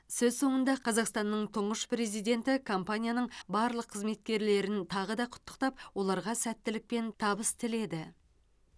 сөз соңында қазақстанның тұңғыш президенті компанияның барлық қызметкерлерін тағы да құттықтап оларға сәттілік пен табыс тіледі